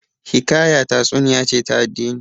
Hikaya tatsuniya ce ta addini